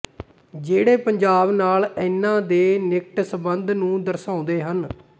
ਜਿਹੜੇ ਪੰਜਾਬ ਨਾਲ ਇਨ੍ਹਾਂ ਦੇ ਨਿਕਟ ਸੰਬੰਧ ਨੂੰ ਦਰਸਾਉਂਦੇ ਹਨ